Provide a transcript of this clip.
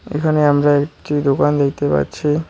এখানে আমরা একটি দোকান দেখতে পাচ্ছি।